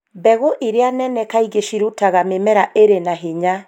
Mbegũ iria nene kaingĩ cirutaga mĩmera ĩrĩ na hinya